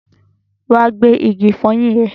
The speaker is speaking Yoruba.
Wa gba igi ìfọyín ẹ!